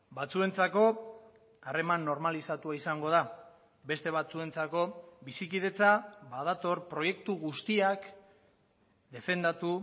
batzuentzako harreman normalizatua izango da beste batzuentzako bizikidetza badator proiektu guztiak defendatu